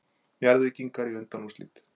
Njarðvíkingar í undanúrslit